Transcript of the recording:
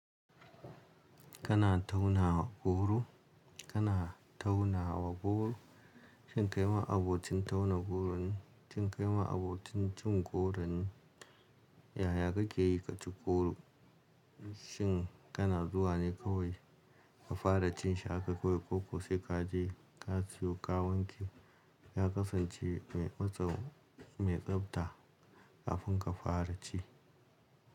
Kana tauna goro, kana tauna wa goro. Shin kai ma abokin tauna goron ne? Shin kai ma abokin cin goron ne? Yaya kake yi ka ci goro? Shin kana zuwa ne kawai ka fara cin shi haka kawai, koko sai ka je ka sayo, ka wanke, ya kasance mai matsa, mai tsabta kafin ka fara ci?